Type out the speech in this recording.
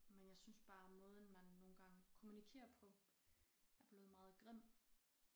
Men jeg synes bare måden man nogle gange kommunikerer på er blevet meget grim